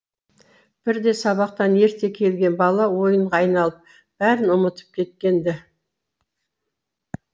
бірде сабақтан ерте келген бала ойынға айналып бәрін ұмытып кеткен ді